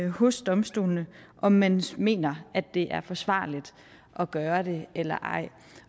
hos domstolene om man mener at det er forsvarligt at gøre det eller ej